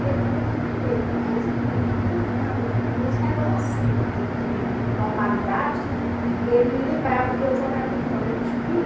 E ele ficou com muito medo, mesmo muito drogado, nos relances de de normalidade, ele lembrava que eu jogaria fora, eu